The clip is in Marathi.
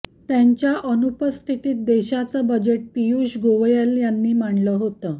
त्यांच्या अनुपस्थितीत देशाचं बजेट पियुष गोयल यांनी मांडलं होतं